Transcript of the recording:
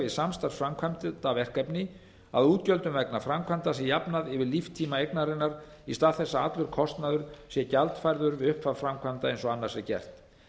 við samstarfsframkvæmdarverkefni að útgjöldum vegna framkvæmda sé jafnað við líftíma eignarinnar í stað þess að allur kostnaður sé gjaldfærður við upphaf framkvæmda eins og annars er gert